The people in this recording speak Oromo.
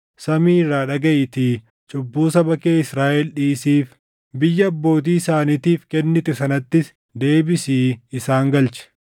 samii irraa dhagaʼiitii cubbuu saba kee Israaʼel dhiisiif; biyya abbootii isaaniitiif kennite sanattis deebisii isaan galchi.